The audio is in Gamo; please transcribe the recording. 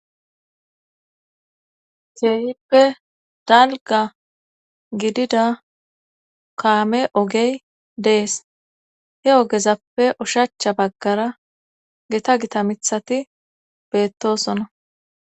Keehippe dalga gidida kaame ogey dees he ogezappe ushacha baggara geta gita mithati beettoosonna.